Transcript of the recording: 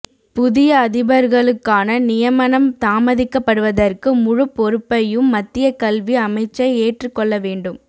புதிய அதிபர்களுக்கான நியமனம் தாமதிக்கப்படுவதற்கு முழுப் பொறுப்பையும் மத்திய கல்வி அமைச்சே ஏற்றுக் கொள்ள வேண்டும்